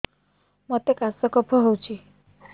ମୋତେ କାଶ କଫ ହଉଚି